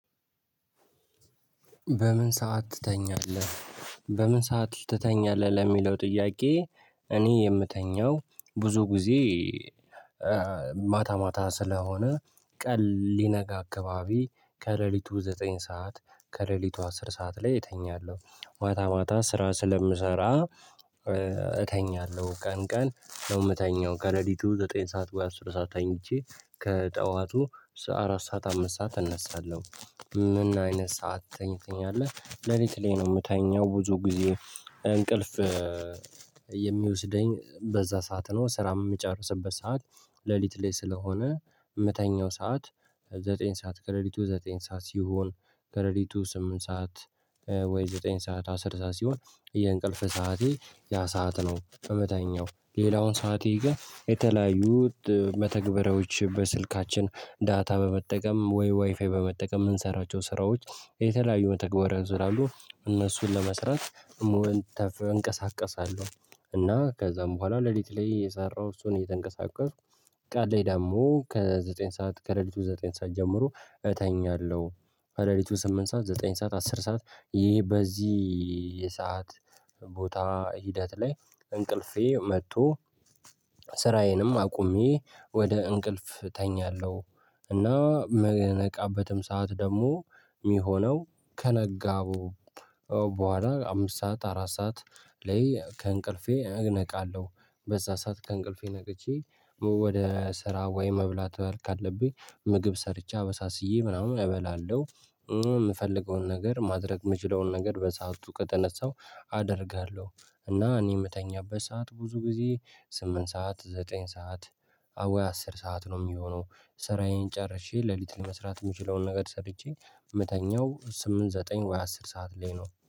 በምን ሰዓት ትተኛለህ በምን ሰዓት ትተኛለህ? ለሚለው ጥያቄ እኔ የምተኛው ብዙ ጊዜ ማታ ማታ ስለሆነ ቀን ሊነጋ አካባቢ ከሌሊቱ ዘጠኝ ሰዓት ከሌሊቱ አስር ሰዓት ላይ እተኛለሁ። ማታ ማታ ስራ ስለምሰራ እተኛለሁ ቀን ቀን ነው የምተኛው ከሌሊቱ ዘጠኝ ሰዓት ወይ አስር ሰዓት ተኝቼ ከጠዋቱ አራት ሰዓት አምስት ሰዓት እነሳለሁ። ምን አይነት ሰዓት ትተኛለህ? ለሊት ላይ ነው የምተኛው ብዙ ጊዜ እንቅልፍ በዛ ሰዓት ነው ስራ የምጨርስበት ሰዓት። ሌሊት ላይ ስለሆነ ምተኛው ሰዓት ዘጠኝ ሰዓት ከለሊቱ ዘጠኝ ሰዓት ሲሆን ከለሊቱ ስምንት ሰዓት ወይ ዘጠኝ ሰዓት አስር ሰዓት ሲሆን የእንቅልፍ ሰዓቴ ያ ሰዓት ነው እምተኛው። ሌላውን ሰዓቴ ግን የተለያዩ መተግበሪያዎች በስልካችን ዳታ በመጠቀም ወይ ዋይፋይ በመጠቀም የምንሰራቸው ስራዎች የተለያዩ መተግበሪያዎች ስላሉ እነሱን ለመስራት እንቀሳቀሳለሁ። እና ከዛም በኋላ ለሊት ላይ እየሰራው እሱን እየተንቀሳቀስኩ። ቀን ላይ ደግሞ ከዘጠኝ ሰዓት ከሌሊቱ ዘጠኝ ሰዓት ጀምሮ እተኛለሁ። ከለሊቱ ስምንት ሰዓት ዘጠኝ ሰዓት አስር ሰዓት ይሄ በዚህ የሰዓት ቦታ ሂደት ላይ እንቅልፌ መጥቶ ስራዬንም አቁሜ ወደ እንቅልፍ እተኛለሁ። እና የምነቃበትም ሰዓት ደግሞ የሚሆነው ከነጋቡ በኋላ አምስት ሰዓት አራት ሰዓት ላይ ከእንቅልፌ እነቃለሁ። በዛ ሰዓት ከእንቅልፌ ነቅቼ ወደ ስራ ወይ መብላት ካለብኝ ምግብ ሰርቼ አበሳስዬ ምናምን እበላለሁ። የምፈልገውን ነገር ማድረግ የምችለውን ነገር በሰአቱ ከተነሳው አደርጋለሁ። እና እኔ የምተኛበት ሰዓት ብዙ ጊዜ ስምንት ሰዓት ዘጠኝ ሰዓት ወይ አስር ሰዓት ነው የሚሆነው። ስራዬን ጨርሼ ሌሊት ለመስራት የምችለውን ነገር ሰርቼ እምተኛው ስምንት ዘጠኝ ወይ አስር ሰዓት ላይ ነው።